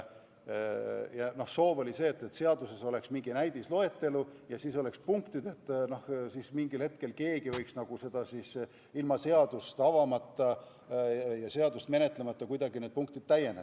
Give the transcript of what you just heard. Sooviti, et seaduses oleks mingi näidisloetelu ja siis oleksid punktid, mida keegi võiks mingi hetkel täiendada, st ilma n-ö seadust avamata ja seda menetlemata peaksid need punktid kuidagi täienema.